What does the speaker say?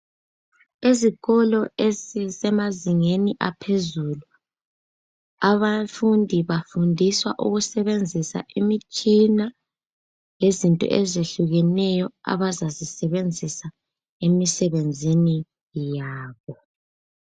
Ezikolo ezisemazingeni aphezulu abafundi bafundiswa ukusebenzisa imitshina lezinto ezehlukeneyo abazazisebenzisa emsebenzini yabo.